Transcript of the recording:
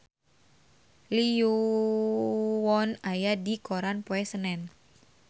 Lee Yo Won aya dina koran poe Senen